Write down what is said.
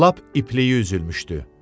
Lap ipləy üzülmüşdü.